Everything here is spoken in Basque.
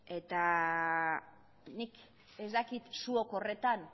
eta nik ez dakit zuok horretan